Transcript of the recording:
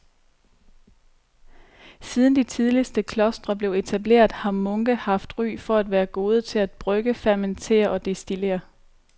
Siden de tidligste klostre blev etableret har munke haft ry for at være gode til at brygge, fermentere og destillere.